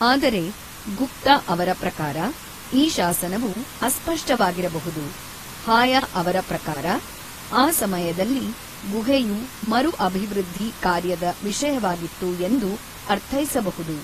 ಆದರೆ, ಗುಪ್ತ ಅವರ ಪ್ರಕಾರ, ಈ ಶಾಸನವು ಅಸ್ಪಷ್ಟವಾಗಿರಬಹುದು ಹಾಯ ಅವರ ಪ್ರಕಾರ, ಆ ಸಮಯದಲ್ಲಿ ಗುಹೆಯು ಮರು-ಅಭಿವೃದ್ಧಿ ಕಾರ್ಯದ ವಿಷಯವಾಗಿತ್ತು ಎಂದು ಅರ್ಥೈಸಬಹುದು.